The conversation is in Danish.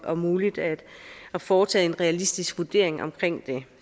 og muligt at foretage en realistisk vurdering omkring det